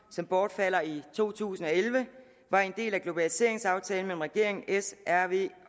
som bortfalder i to tusind og elleve var en del af globaliseringsaftalen mellem regeringen s rv